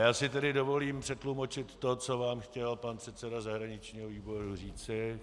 Já si tedy dovolím přetlumočit to, co vám chtěl pan předseda zahraničního výboru říci.